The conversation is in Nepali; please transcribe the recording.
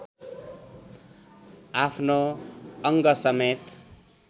आफ्नो अङ्गसमेत